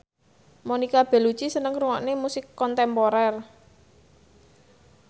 Monica Belluci seneng ngrungokne musik kontemporer